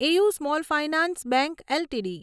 AU small finance bank LTD